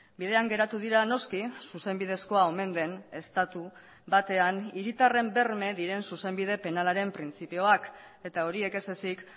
bidean geratu dira noski zuzenbidezkoa omen den estatu batean hiritarren berme diren zuzenbide penalaren printzipioak eta horiek ez ezik